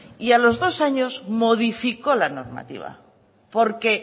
y a los dos años modificó la normativa porque